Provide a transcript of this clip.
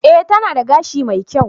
E, tana da gashi mai kyau.